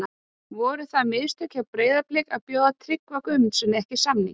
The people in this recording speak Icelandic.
Voru það mistök hjá Breiðabliki að bjóða Tryggva Guðmundssyni ekki samning?